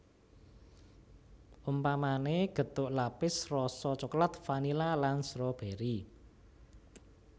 Umpamané gethuk lapis rasa coklat vanila lan strobèri